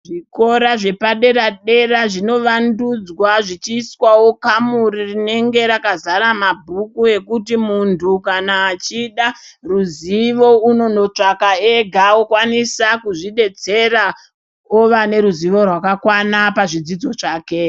Zvikora zveoadera dera zvinovandudzwa zvichiiswawo kamuri renenge rakazara mabhuku rekuti muntu kana echida ruzivo unonotsvaka ega okwanisa kuzvidetsera ova neruziwo rwakakwana pazvidzidzo zvake.